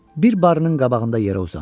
Bir barın qabağında yerə uzandı.